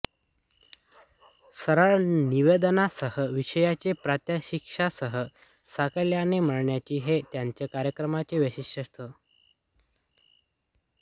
रसाळ निवेदनासह विषयाची प्रात्यक्षिकांसह साकल्याने मांडणी हे त्यांच्या कार्यक्रमांचे वैशिष्ट्य होते